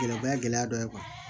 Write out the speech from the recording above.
Gɛlɛ o ye gɛlɛya dɔ ye